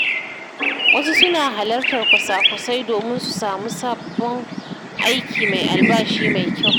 Wasu suna halartar kwasa-kwasai domin su samu sabon aiki mai albashi mai kyau.